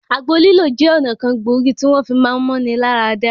Àgbo lílò jẹ́ ọ̀nà kan gbòógì tí wọ́n fi máá mú-ni-lá-ra-dá.